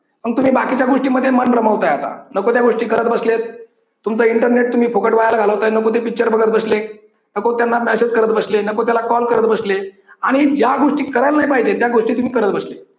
मग तुम्ही बाकीच्या गोष्टींमध्ये मन रमवताय आता नको त्या गोष्टी करत बसलेत तुमच इंटरनेट तुम्ही फुकट वाया ला घालवताय नको ते पिक्चर बघत बसले नको त्यांना मेसेज करत बसले नको त्यांना कॉल करत बसले आणि ज्या गोष्टी करायला नाही पाहिजे त्या गोष्टी करत बसले.